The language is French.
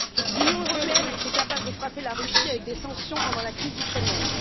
L'Union européenne a été capable de frapper la Russie avec des sanctions pendant la crise ukrainienne.